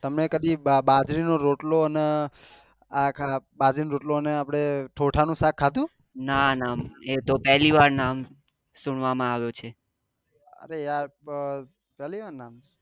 તમે કદી બાજરી નો રોટલો ને બાજરી નો રોટલો ને આપડે ઠોથા નું શક ખાધું